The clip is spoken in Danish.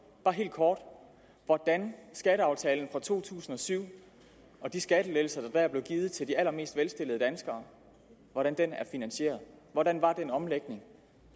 bare helt kort hvordan skatteaftalen fra to tusind og syv og de skattelettelser der dér blev givet til de allermest velstillede danskere er finansieret hvordan var den omlægning